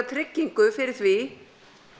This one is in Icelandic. tryggingu fyrir því